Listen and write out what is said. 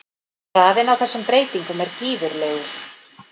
Hraðinn á þessum breytingum er gífurlegur.